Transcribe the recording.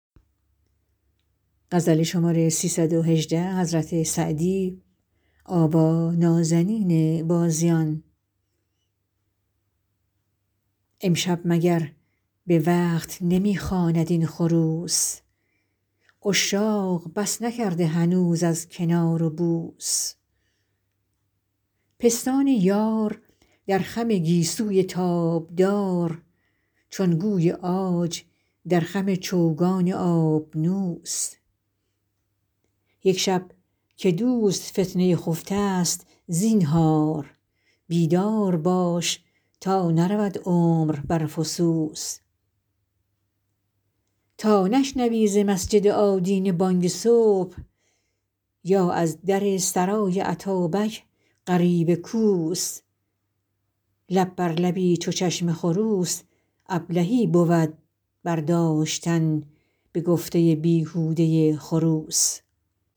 امشب مگر به وقت نمی خواند این خروس عشاق بس نکرده هنوز از کنار و بوس پستان یار در خم گیسوی تابدار چون گوی عاج در خم چوگان آبنوس یک شب که دوست فتنه خفته ست زینهار بیدار باش تا نرود عمر بر فسوس تا نشنوی ز مسجد آدینه بانگ صبح یا از در سرای اتابک غریو کوس لب بر لبی چو چشم خروس ابلهی بود برداشتن به گفته بیهوده خروس